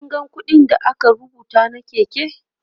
kin ga ƙuɗin da aka rubuta na Keke?